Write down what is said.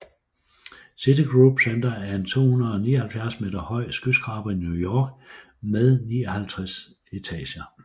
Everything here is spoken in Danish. Citigroup Center er en 279 meter høj skyskraber i New York med 59 etager